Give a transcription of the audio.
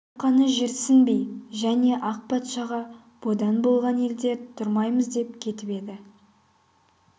арқаны жерсінбей және ақ патшаға бодан болған елде тұрмаймыз деп кетіп еді